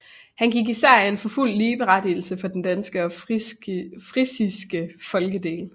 Han gik især ind for fuld ligeberettigelse for den danske og frisiske folkedel